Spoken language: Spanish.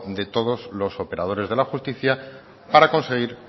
de todos los operadores de la justicia para conseguir